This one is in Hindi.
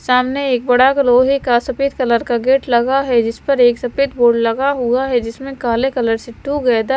सामने एक बड़ा लोहे का सफेद कलर का गेट लगा है जिस पर एक सफेद बोर्ड लगा हुआ है जिसमें काले कलर से टुगेदर --